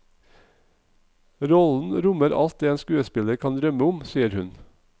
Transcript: Rollen rommer alt det en skuespiller kan drømme om, sier hun.